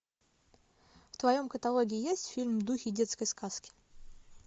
в твоем каталоге есть фильм духи детской сказки